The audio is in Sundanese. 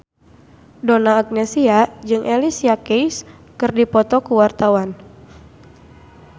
Donna Agnesia jeung Alicia Keys keur dipoto ku wartawan